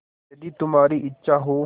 यदि तुम्हारी इच्छा हो